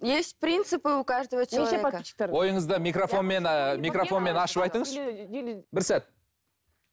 есть принципы у каждого человека неше подрисчиктеріңіз ойыңызды микрофонмен ііі микрофонмен ашып айтыңызшы бір сәт